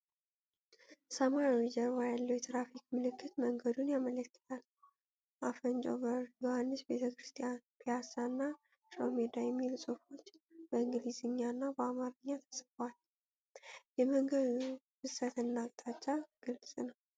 ሰማያዊ ጀርባ ያለው የትራፊክ ምልክት መንገድን ያመለክታል። 'አፈንጮ በር'፣ 'ዮሐንስ ቤተክርስቲያን'፣ 'ፒያሳ' እና 'ሽሮሜዳ' የሚሉ ጽሑፎች በእንግሊዝኛና በአማርኛ ተጽፈዋል። የመንገዱ ፍሰትና አቅጣጫ ግልጽ ነው።